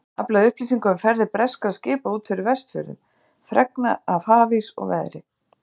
Aflað upplýsinga um ferðir breskra skipa út fyrir Vestfjörðum, fregna af hafís og veðri.